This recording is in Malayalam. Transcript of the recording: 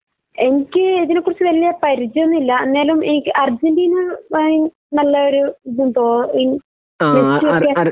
എനിക്ക് ഇതിനെ കുറിച്ച് വല്യ പരിചയൊന്നൂല ഇന്നാലും എനിക്ക് അർജന്റീന ഭയ നല്ലൊരു ഇതും തോ മെസിയൊക്കെ